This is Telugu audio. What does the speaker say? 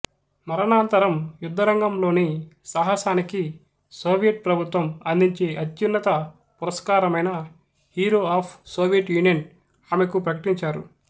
మరణానంతరం యుద్ధరంగంలోని సాహసానికి సోవియట్ ప్రభుత్వం అందించే అత్యున్నత పురస్కారమైన హీరో ఆఫ్ సోవియట్ యూనియన్ ఆమెకు ప్రకటించారు